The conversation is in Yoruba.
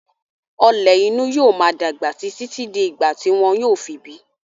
Ọ̀lẹ̀ inú yóò máa dàgbà síi títí di ìgbà tí wọn yóò fi bíi.